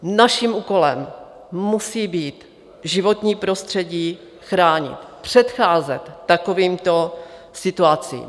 Naším úkolem musí být životní prostředí chránit, předcházet takovýmto situacím.